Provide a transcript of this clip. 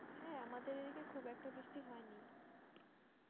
হ্যাঁ আমিদের দিকে খুব একটা বৃষ্টি হয়নি